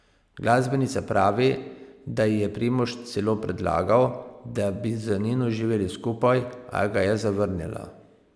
Glasbenica pravi, da ji je Primož celo predlagal, da bi z Nino živeli skupaj, a ga je zavrnila.